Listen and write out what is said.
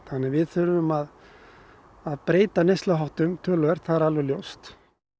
við þurfum að breyta neysluháttum töluvert það er alveg ljóst